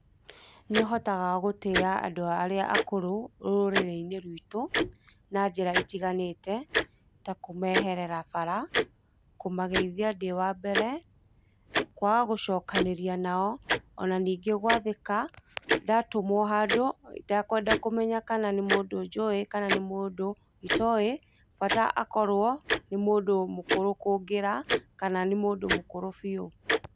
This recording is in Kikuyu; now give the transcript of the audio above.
Nĩ ũhotaga gũtĩa andũ arĩa akũrũ rũrĩrĩ-inĩ rwitũ, na njĩra itiganate ta kũmeherera bara, kũmageithia ndĩ wa mbere kũaga gũcokanĩrĩa nao, ona ningĩ gwathĩka ndatũmwo handũ ,itakwenda kũmenya kana nĩ mũndũ njũĩ kana nĩ mũndũ itoe bata akorwo, nĩ mũndũ mũkũrũ kũngĩra, kana nĩ mũndũ mũkũrũ bio.